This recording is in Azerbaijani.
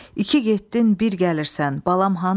İki getdin, bir gəlirsən, balam hanı?